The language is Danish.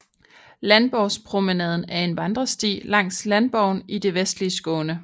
Landborgspromenaden er en vandresti langs Landborgen i det vestlige Skåne